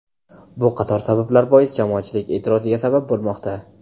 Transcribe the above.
Bu qator sabablar bois jamoatchilik e’tiroziga sabab bo‘lmoqda.